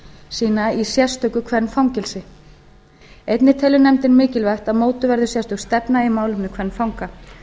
sína í sérstöku kvenfangelsi einnig telur nefndin mikilvægt að mótuð verði sérstök stefna í málefnum kvenfanga